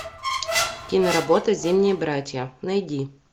киноработа зимние братья найди